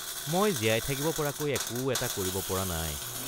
মই জীয়াই থাকিব পৰাকৈ একো এটা কৰিব পৰা নাই।